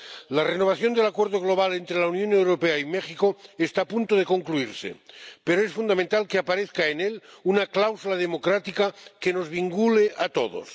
La renovación del Acuerdo Global entre la Unión Europea y México está a punto de concluirse, pero es fundamental que aparezca en él una cláusula democrática que nos vincule a todos.